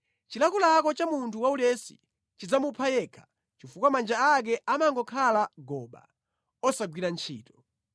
Chilakolako cha munthu waulesi chidzamupha yekha chifukwa manja ake amangokhala goba osagwira ntchito.